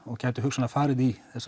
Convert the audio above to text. og gæti hugsanlega farið í